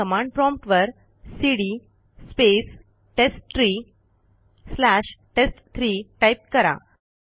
आता command prompt वरcd space test tree slash टेस्ट3 टाईप करा